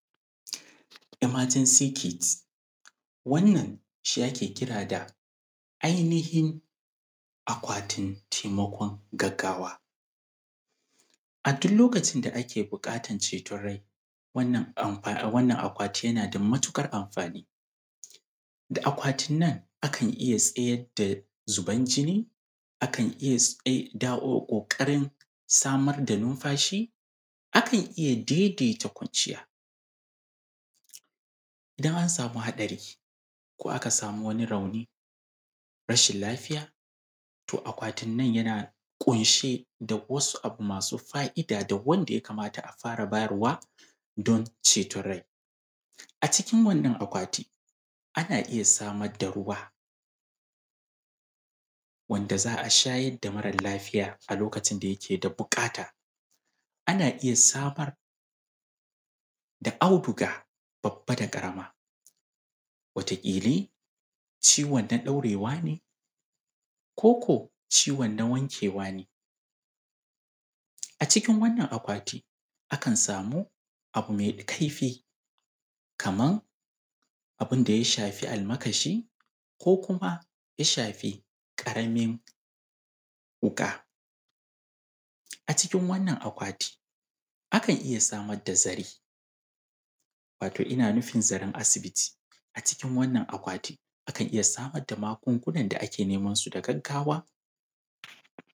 Emergency Kit. Wannan shi ake kira da ainihin ‘Akwatin Taimakon Gaggawa.’ A duk lokacin da ake buƙatar ceton rai, wannan akwati yana da natuƙar amfani. Da akwatin nan akan iya tsayar da zuban jini; akan iya tsai da o, ƙoƙarin samar da numfashi; akan iya daidaita kwanciya. idan an samu haɗari, ko aka sanu wani rauni, rashin lafiya, to akwatin nan yana ƙunshe da wasu abu masu fa’ida da wanda ya kamata a fara bayarwa don ceton rai. A cikin wannan akwati, ana iya samar da ruwa, wanda za a shayar da mara lafiya a lokacin da yake da buƙata. Ana iya samar da auduga babba da ƙarama. Wataƙili, ciwon na ɗaurewa ne; ko ko, ciwon na wankewa ne. a cikin wannan akwati, akan samu abu mai kaifi, kaman abun da ya shafi almakashi; ko kuma ya shafi ƙaramin wuƙa. A cikin wannan akwati, akan iya samar da zare, wato ina nufin zaren asibiti. A cikin wannan akwati, akan iya samar da magungunan da ake neman su da gaggawa.